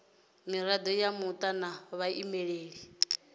mirado ya muta na vhaimeleli